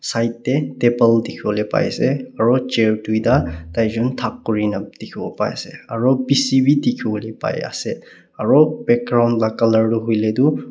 side teh table dikhiwole pai ase aro chair taijun thuk kurina dikhiwo pai ase aro P_C wi dikhiwole pai ase aro background la colour tu hoile kuile tu.